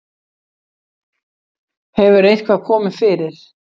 Hefur eitthvað komið fyrir?